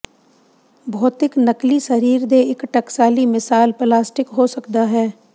ਭੌਤਿਕ ਨਕਲੀ ਸਰੀਰ ਦੇ ਇੱਕ ਟਕਸਾਲੀ ਮਿਸਾਲ ਪਲਾਸਟਿਕ ਹੋ ਸਕਦਾ ਹੈ